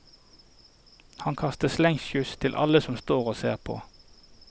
Han kaster slengkyss til alle som står og ser på.